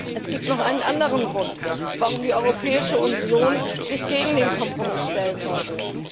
Es gibt noch einen anderen Grund, warum sich die Europäische Union gegen den Kompromiss stellen sollte.